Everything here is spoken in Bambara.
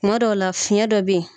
Kuma dɔw la fiyɛn dɔ bɛ ye.